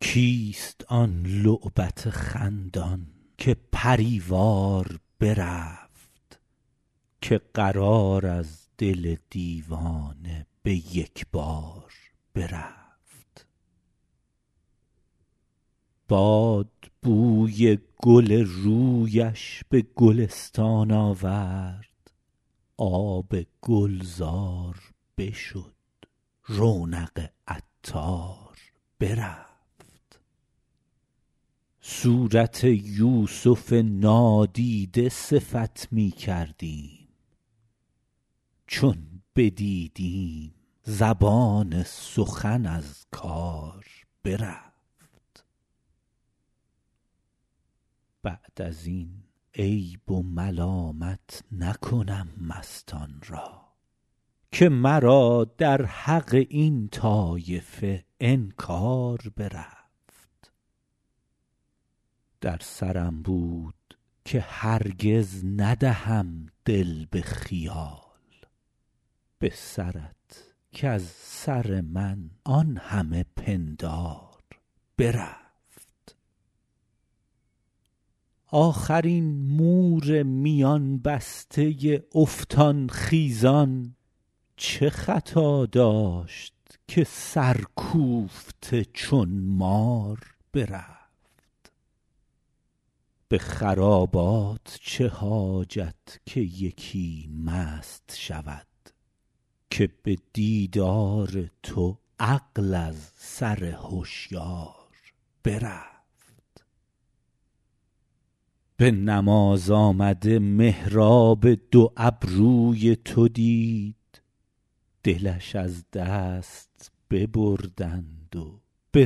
کیست آن لعبت خندان که پری وار برفت که قرار از دل دیوانه به یک بار برفت باد بوی گل رویش به گلستان آورد آب گلزار بشد رونق عطار برفت صورت یوسف نادیده صفت می کردیم چون بدیدیم زبان سخن از کار برفت بعد از این عیب و ملامت نکنم مستان را که مرا در حق این طایفه انکار برفت در سرم بود که هرگز ندهم دل به خیال به سرت کز سر من آن همه پندار برفت آخر این مور میان بسته افتان خیزان چه خطا داشت که سرکوفته چون مار برفت به خرابات چه حاجت که یکی مست شود که به دیدار تو عقل از سر هشیار برفت به نماز آمده محراب دو ابروی تو دید دلش از دست ببردند و به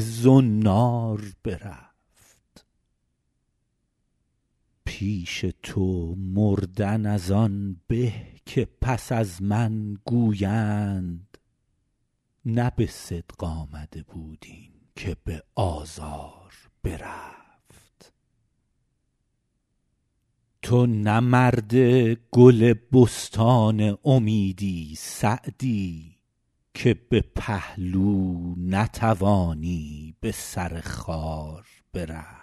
زنار برفت پیش تو مردن از آن به که پس از من گویند نه به صدق آمده بود این که به آزار برفت تو نه مرد گل بستان امیدی سعدی که به پهلو نتوانی به سر خار برفت